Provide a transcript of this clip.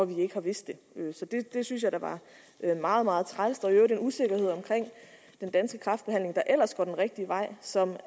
vi ikke har vidst det så det det synes jeg da var meget meget træls og i øvrigt en usikkerhed omkring den danske kræftbehandling der ellers går den rigtige vej som